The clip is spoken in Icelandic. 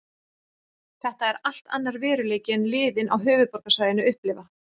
Þetta er allt annar veruleiki en liðin á höfuðborgarsvæðinu upplifa.